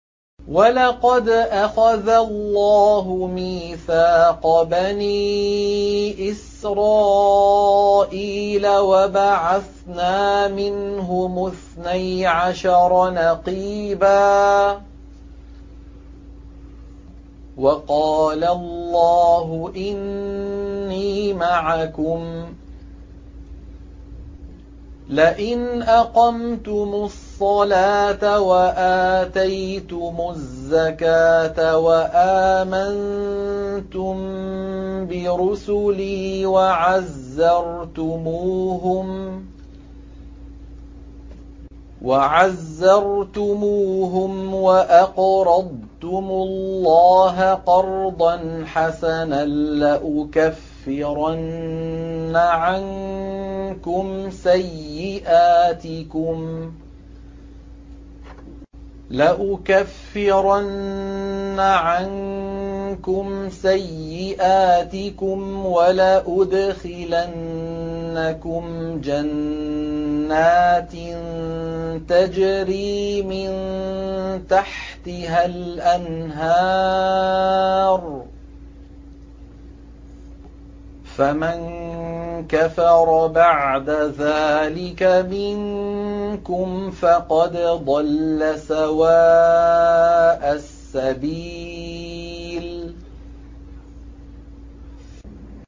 ۞ وَلَقَدْ أَخَذَ اللَّهُ مِيثَاقَ بَنِي إِسْرَائِيلَ وَبَعَثْنَا مِنْهُمُ اثْنَيْ عَشَرَ نَقِيبًا ۖ وَقَالَ اللَّهُ إِنِّي مَعَكُمْ ۖ لَئِنْ أَقَمْتُمُ الصَّلَاةَ وَآتَيْتُمُ الزَّكَاةَ وَآمَنتُم بِرُسُلِي وَعَزَّرْتُمُوهُمْ وَأَقْرَضْتُمُ اللَّهَ قَرْضًا حَسَنًا لَّأُكَفِّرَنَّ عَنكُمْ سَيِّئَاتِكُمْ وَلَأُدْخِلَنَّكُمْ جَنَّاتٍ تَجْرِي مِن تَحْتِهَا الْأَنْهَارُ ۚ فَمَن كَفَرَ بَعْدَ ذَٰلِكَ مِنكُمْ فَقَدْ ضَلَّ سَوَاءَ السَّبِيلِ